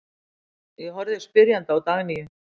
Ég horfði spyrjandi á Dagnýju.